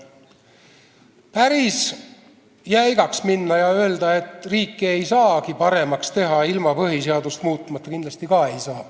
Päris jäigalt öelda, et riiki ei saagi paremaks teha ilma põhiseadust muutmata, kindlasti ka ei saa.